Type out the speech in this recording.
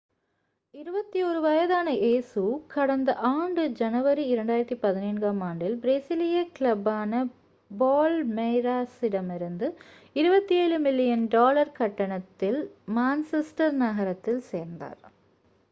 21 வயதான இயேசு கடந்த ஆண்டு ஜனவரி 2017-ஆம் ஆண்டில் பிரேசிலிய கிளப்பான பால்மெய்ராஸிடமிருந்து 27 மில்லியன் டாலர் கட்டணத்தில் மான்செஸ்டர் நகரத்தில் சேர்ந்தார்